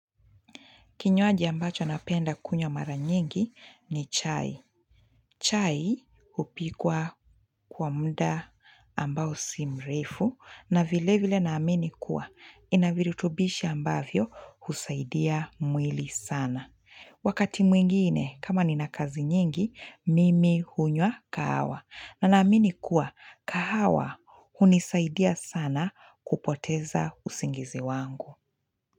Kinywaji ambacho napenda kunywa mara nyingi ni chai. Chai hupikwa kwa muda ambao si mrefu na vile vile naamini kuwa ina virutubishi ambavyo husaidia mwili sana. Wakati mwingine kama nina kazi nyingi, mimi hunywa kahawa na naamini kuwa kahawa hunisaidia sana kupoteza usingizi wangu.